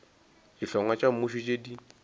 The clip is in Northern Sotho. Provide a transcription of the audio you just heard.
dihlongwa tša mmušo tše di